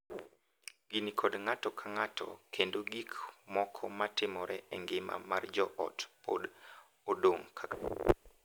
Gini kod ng’ato ka ng’ato kendo gik moko ma timore e ngima mar joot pod odong’ kaka chon.